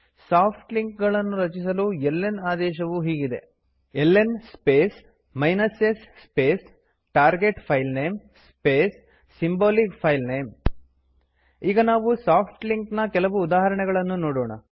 soft link ಗಳನ್ನು ರಚಿಸಲು ln ಆದೇಶವು ಹೀಗಿದೆ ln space s space target filename space symbolic filename ಈಗ ನಾವು ಸಾಫ್ಟ್ ಲಿಂಕ್ ನ ಕೆಲವು ಉದಾಹರಣೆಗಳನ್ನು ನೋಡೋಣ